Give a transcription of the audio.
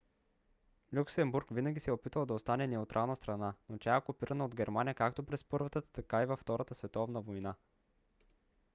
люксембург винаги се е опитвал да остане неутрална страна но тя е окупирана от германия както през първата така и във втората световна война